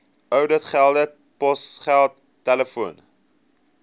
ouditgelde posgeld telefoon